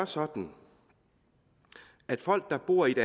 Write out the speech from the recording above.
sådan at folk der bor i ét